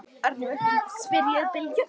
spyr ég Bylgju.